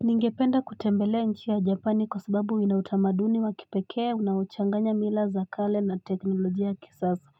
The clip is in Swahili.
Ningependa kutembelea nchi ya Japan kwa sababu inautamaduni wa kipekee unaochanganya mila za kale na teknolojia ya kisasa